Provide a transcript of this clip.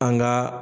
An ka